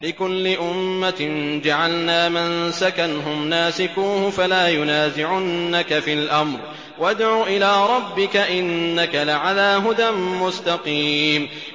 لِّكُلِّ أُمَّةٍ جَعَلْنَا مَنسَكًا هُمْ نَاسِكُوهُ ۖ فَلَا يُنَازِعُنَّكَ فِي الْأَمْرِ ۚ وَادْعُ إِلَىٰ رَبِّكَ ۖ إِنَّكَ لَعَلَىٰ هُدًى مُّسْتَقِيمٍ